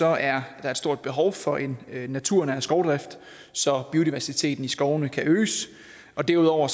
er der et stort behov for en naturnær skovdrift så biodiversiteten i skovene kan øges derudover